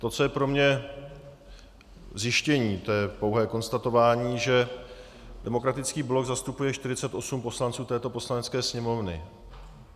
To, co je pro mě zjištění, to je pouhé konstatování, že Demokratický blok zastupuje 48 poslanců této Poslanecké sněmovny.